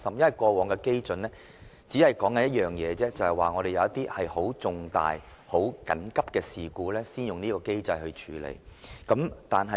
以往的例子只說明一點，便是事情重大而緊急，才會動用這機制處理。